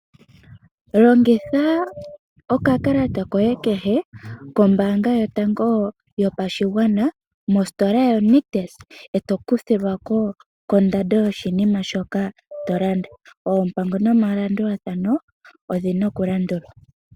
Longitha okakalata koye kehe kombaanga yotango yopashigwana, mostola yoNictus, e to kuthilwa ko kondando yoshinima shoka to landa. Oompango nomalandulathano odhi na okulandulwa.